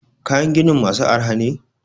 kayan ginin masu arha ne?